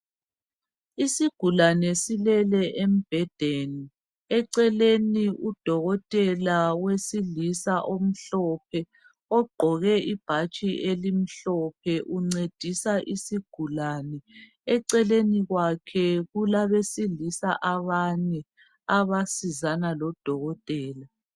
Isigulane silele embhedeni eceleni udokotela wesilisa omhlophe ogqoke ibhatshi elimhlophe uncedisa isigulani eceleni kwakhe kulabesilisa abane abasizana lodokotela.